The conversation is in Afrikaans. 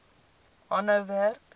aanhou werk